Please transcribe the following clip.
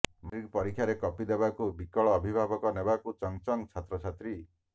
matric ପରୀକ୍ଷାରେ copy ଦେବାକୁ ବିକଳ ଅଭିଭାବକ ନେବାକୁ ଚଙ୍ଗ ଚଙ୍ଗ ଛାତ୍ରଛାତ୍ରୀ